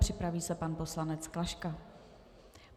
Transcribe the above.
Připraví se pan poslanec Klaška.